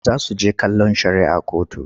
Za su he kallon shari'ah kotu.